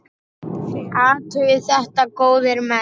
Athugið þetta mál, góðir menn!